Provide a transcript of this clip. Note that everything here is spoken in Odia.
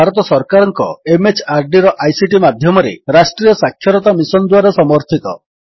ଏହା ଭାରତ ସରକାରଙ୍କ MHRDର ଆଇସିଟି ମାଧ୍ୟମରେ ରାଷ୍ଟ୍ରୀୟ ସାକ୍ଷରତା ମିଶନ୍ ଦ୍ୱାରା ସମର୍ଥିତ